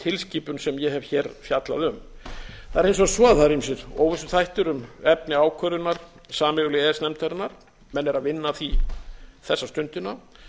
tilskipun sem ég hef hér fjallað um það er hins vegar svo að það eru ýmsir óvissuþættir um efni ákvörðunar sameiginlegu e e s nefndarinnar menn eru að vinna að því þessa stundina